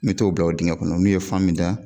Me t'o bila o dingɛ kɔnɔ n'u ye fan min da